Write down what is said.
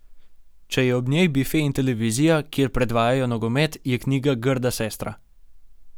Če je ob njej bife in televizija, kjer predvajajo nogomet, je knjiga grda sestra.